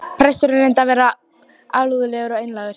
Presturinn reyndi að vera alúðlegur og einlægur.